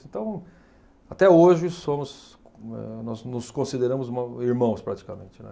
Então, até hoje, somos eh nós nos consideramos ma irmãos, praticamente, né.